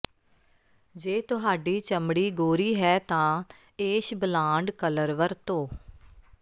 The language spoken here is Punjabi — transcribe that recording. ਜੇ ਤੁਹਾਡੀ ਚਮੜੀ ਗੋਰੀ ਹੈ ਤਾਂ ਏਸ਼ ਬਲਾਂਡ ਕਲਰ ਵਰਤੋ